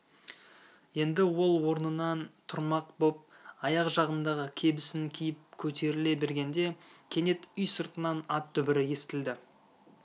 енді ол орнынан тұрмақ боп аяқ жағындағы кебісін киіп көтеріле бергенде кенет үй сыртынан ат дүбірі естілді